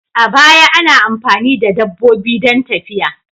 A baya, ana amfani da dabbobi don tafiya.